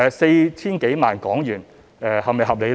四千多萬港元是否合理呢？